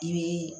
I bɛ